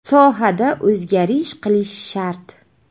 Sohada o‘zgarish qilish shart.